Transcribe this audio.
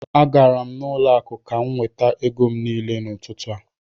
Agara m n'ụlọ akụ ka m nweta ego m niile n'ụtụtụ a